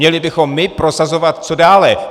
Měli bychom my prosazovat co dále.